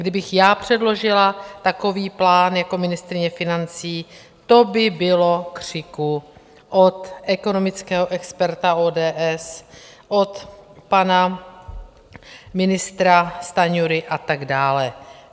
Kdybych já předložila takový plán jako ministryně financí, to by bylo křiku od ekonomického experta ODS, od pana ministra Stanjury a tak dále.